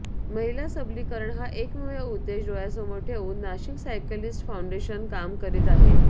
महिला सबलीकरण हा एकमेव उद्देश डोळ्यासमोर ठेवून नाशिक सायकलीस्ट फाउंडेशन काम करीत आहे